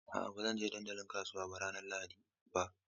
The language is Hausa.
A'a, ba zan je dandalin kasuwa ranar Lahadi ba.